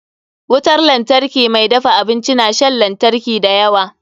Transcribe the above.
Wutar lantarki mai dafa abinci na shan lantari da yawa.